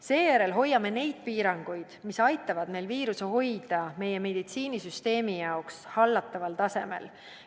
Seejärel hoiame neid piiranguid, mis aitavad meil viiruse hoida meie meditsiinisüsteemi jaoks hallataval tasemel.